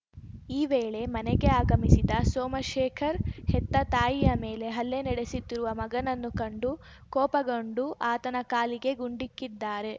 ಈ ವೇಳೆ ಮನೆಗೆ ಆಗಮಿಸಿದ ಸೋಮಶೇಖರ್‌ ಹೆತ್ತ ತಾಯಿಯ ಮೇಲೆ ಹಲ್ಲೆ ನಡೆಸುತ್ತಿರುವ ಮಗನನ್ನು ಕಂಡು ಕೋಪಗೊಂಡು ಆತನ ಕಾಲಿಗೆ ಗುಂಡಿಕ್ಕಿದ್ದಾರೆ